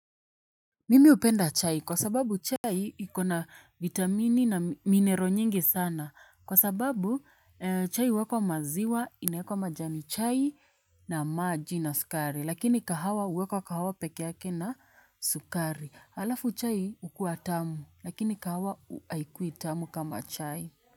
Mimi hupenda chai kwa sababu chai iko na vitamini na minero nyingi sana kwa sababu chai uwekwa maziwa inaekwa majani chai na maji na sukari lakini kahawa uwekwa kahawa peke yake na sukari halafu chai ukua tamu lakini kahawa aikuwi tamu kama chai.